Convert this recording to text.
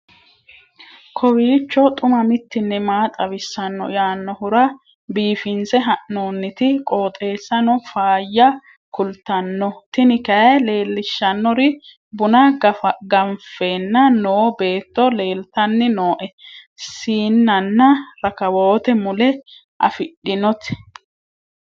kowiicho xuma mtini maa xawissanno yaannohura biifinse haa'noonniti qooxeessano faayya kultanno tini kayi leellishshannori buna gaffanni nooo beetto leeltanni nooe siinnanna rakawoote mule afidhinoti